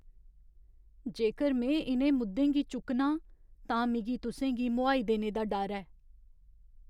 जेकर में इ'नें मुद्दें गी चुक्कनां तां मिगी तुसें गी मोहाई देने दा डर ऐ।